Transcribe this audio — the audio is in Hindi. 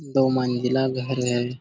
दो मंजिला घर है|